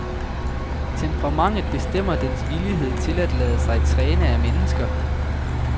Temperamentet bestemmer dens villighed til at lade sig træne af mennesker.